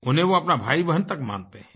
उन्हें वो अपना भाईबहन तक मानते हैं